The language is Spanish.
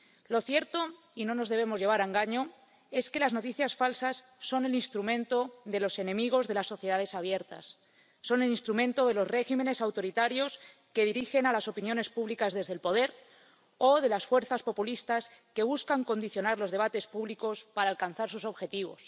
Lo cierto —y no nos debemos llevar a engaño— es que las noticias falsas son el instrumento de los enemigos de las sociedades abiertas, son el instrumento de los regímenes autoritarios que dirigen a las opiniones públicas desde el poder o de las fuerzas populistas que buscan condicionar los debates públicos para alcanzar sus objetivos.